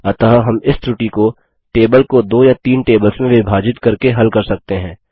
अतः हम इस त्रुटी को टेबल को दो या तीन टेबल्स में विभाजित करके हल कर सकते हैं